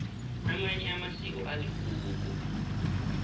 amanye amasiko aligugu